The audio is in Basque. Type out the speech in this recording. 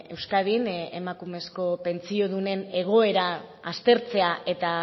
euskadin emakumezko pentsiodunen egoera aztertzea eta